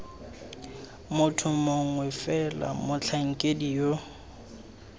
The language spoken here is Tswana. motho mongwe fela motlhankedi yo